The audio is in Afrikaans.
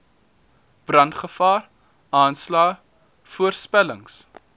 brandgevaar aanslae voorspellings